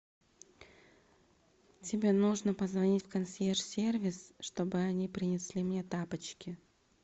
тебе нужно позвонить в консьерж сервис чтобы они принесли мне тапочки